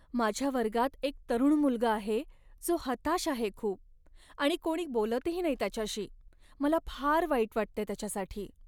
माझ्या वर्गात एक तरुण मुलगा आहे जो हताश आहे खूप आणि कोणी बोलतही नाही त्याच्याशी. मला फार वाईट वाटते त्याच्यासाठी.